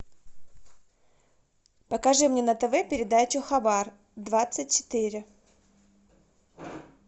покажи мне на тв передачу хабар двадцать четыре